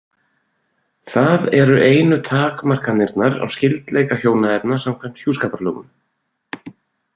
Það eru einu takmarkanirnar á skyldleika hjónaefna samkvæmt hjúskaparlögum.